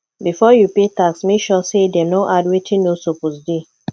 before you pay tax make sure say dem no add wetin no suppose dey